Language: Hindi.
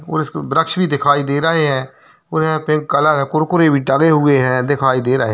और इसमें वृक्ष भी दिखाई दे रहें हैं और यहाँ पे कलर है कुरकुरे भी डाले हुए हैं दिखाई दे रहें हैं।